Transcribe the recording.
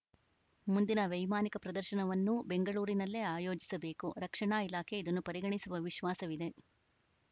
ಮುಂದಿನ ವೈಮಾನಿಕ ಪ್ರದರ್ಶನವನ್ನೂ ಬೆಂಗಳೂರಿನಲ್ಲೇ ಆಯೋಜಿಸಬೇಕು ರಕ್ಷಣಾ ಇಲಾಖೆ ಇದನ್ನು ಪರಿಗಣಿಸುವ ವಿಶ್ವಾಸವಿದೆ